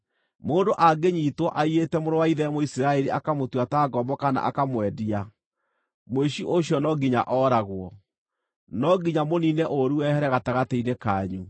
Mũndũ angĩnyiitwo aiyĩte mũrũ wa ithe Mũisiraeli akamũtua ta ngombo kana akamwendia, mũici ũcio no nginya ooragwo. No nginya mũniine ũũru wehere gatagatĩ-inĩ kanyu.